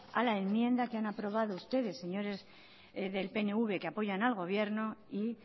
a la enmienda que han aprobado ustedes señores del pnv que apoyan al gobierno y